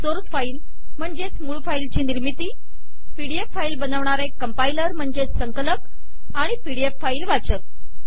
source file ची निर्मिती P D F file बनविणारे कंपाइलेशन आणि पी डी एफ फाईल वाचक